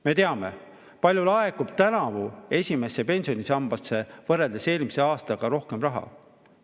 Me teame, kui palju laekub eelmise aastaga võrreldes tänavu esimesse pensionisambasse rohkem raha.